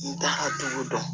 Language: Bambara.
N t'a ka tugu dɔn